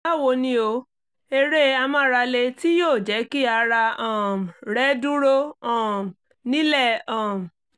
báwo ni o? eré amárale tí yóò jẹ́ kí ara um rẹ́ dúró um nílẹ̀ um